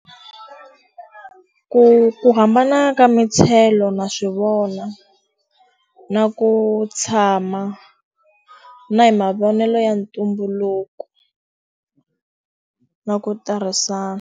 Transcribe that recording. Ku ku hambana ka na swi vona. Na ku tshama, na hi mavonelo ya ntumbuluko, na ku tirhisa.